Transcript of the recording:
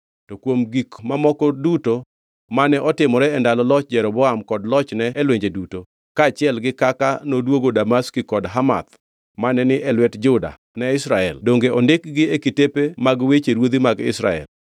To kuom gik mamoko duto mane otimore e ndalo loch Jeroboam kod lochne e lwenje duto, kaachiel gi kaka noduogo Damaski kod Hamath mane ni e lwet Juda ne Israel; donge ondikgi e kitepe mag weche ruodhi mag Israel.